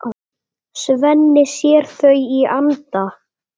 Svenni sér þau í anda.